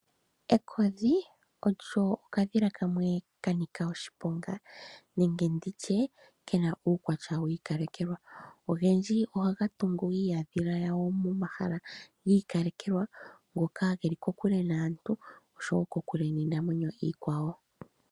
Ekodhi olyo okadhila kamwe ka ninika oshiponga nenge nditye kena uukwatya wi ikalekelwa, ogendji oha gatungu iiyadhila ya go momahala giikalekelwa ngoka ge li ko kule naantu oshowo ko kule niinamwenyo iikwawo.